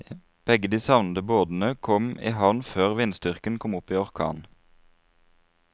Begge de savnede båtene kom i havn før vindstyrken kom opp i orkan.